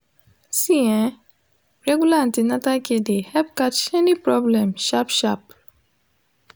see ehh regular an ten atal care de help catch any problem sharp sharp